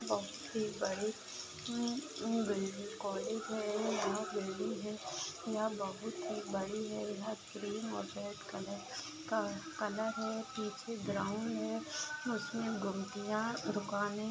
बहुत ही बड़ी अम अम बिल कॉलेज है यहा बिल्डिंग है यहा बहुत ही बड़ी है यहा क्रीम कलर हॉटेल कलर का कलर है पीछे ग्राउंड है। उसमे घुमटिया दुकाने --